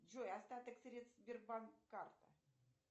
джой остаток средств сбербанк карта